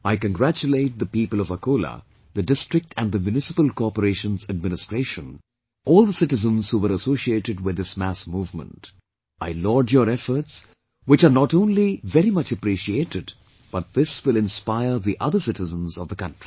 I congratulate the people of Akola, the district and the municipal corporation's administration, all the citizens who were associated with this mass movement, I laud your efforts which are not only very much appreciated but this will inspire the other citizens of the country